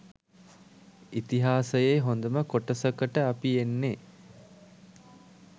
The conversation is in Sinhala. ඉතිහාසයේ හොඳම කොටසකට අපි එන්නේ.